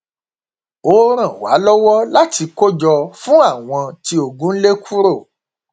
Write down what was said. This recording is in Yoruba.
ó ran wa lọwọ láti kó jọ fún àwọn tí ogun lé kúrò